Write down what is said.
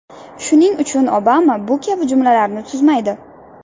Shuning uchun Obama bu kabi jumlalarni tuzmaydi.